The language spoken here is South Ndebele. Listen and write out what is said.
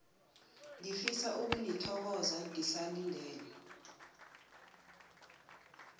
ngifisa ukunithokoza ngisalindele